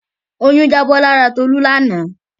Oyún jábọ́ lára Tolú lánàá.